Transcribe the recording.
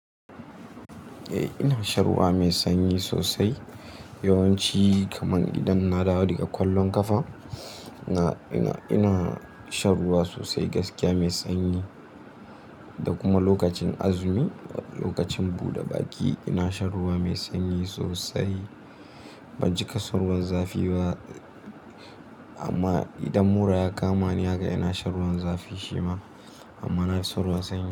Eh ina shan ruwa mai sanyi sosai. Yawanci kaman idan na dawo daga kwallon kafa ina, ina, ina shan ruwa sosai gaskiya mai sanyi. Da kuma lokacin azumi lokacin buɗe baki ina shan ruwa mai sanyi sosai. Ban cika son ruwan zafi ba amma idan mura ya kama ni haka ina shan ruwan zafi shima amma na fi son ruwan sanyi.